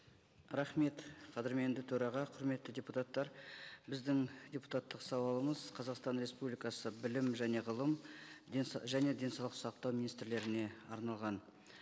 рахмет қадірменді төраға құрметті депутаттар біздің депутаттық сауалымыз қазақстан республикасы білім және ғылым және денсаулық сақтау министрлеріне арналған